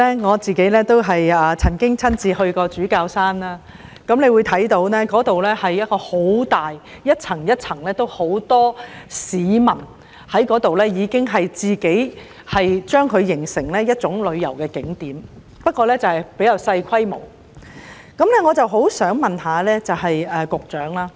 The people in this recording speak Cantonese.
我也曾親身前往主教山配水庫，那個地方很大、一層一層的，很多市民聚集該處，形成一個旅遊景點——不過比較小規模，我相信這個景點是要跨局處理的。